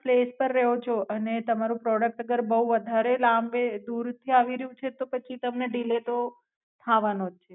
Place પર રહો છો આને તમારું પ્રોડુક્ટ અગર બૌ વધારે લાંબે દૂર થી એવી રયુ છે તો પછી તમને ઢીલર તો થાવાનો જ છે.